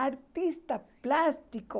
Artista plástico...